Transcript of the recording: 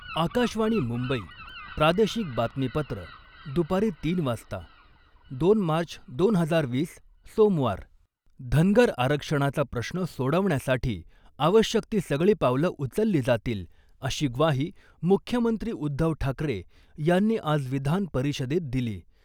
आकाशवाणी मुंबई प्रादेशिक बातमीपत्र दु .तीन वाजता दोन मार्च , दोन हजार वीस सोमवार, धनगर आरक्षणाचा प्रश्न सोडवण्यासाठी आवश्यक ती सगळी पावलं उचलली जातील , अशी ग्वाही मुख्यमंत्री उद्धव ठाकरे यांनी आज विधान परिषदेत दिली .